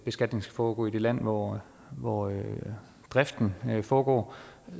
skal foregå i det land hvor hvor driften foregår